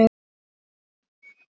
Þakkaði hann gjöfina mjög.